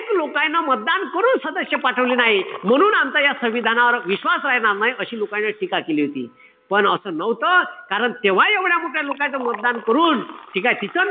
लोकायन मतदान करून सदस्य पाठवले नाई. म्हणून आमचा या संविधानावर विश्वास राहणार नाई. अशी लोकांनी टीका केली होती. पण असं नव्हतं. कारण तेव्हा एवढ्या मोठ्या लोकांयन मतदान करून, ठीकेय? तिथं